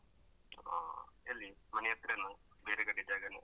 ಹಾ ಎಲ್ಲಿ ಮನೆ ಹತ್ರನಾ ಬೇರೆ ಕಡೆ ಜಾಗನಾ?